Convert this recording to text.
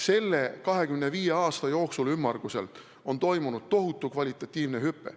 Selle ümmarguselt 25 aasta jooksul on toimunud tohutu kvalitatiivne hüpe.